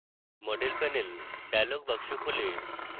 model panel dialog box খোলে